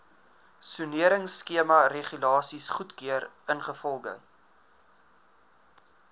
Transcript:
soneringskemaregulasies goedgekeur ingevolge